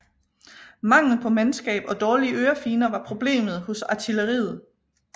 Mangel på mandskab og dårlige ørefigner var problemer hos artilleriet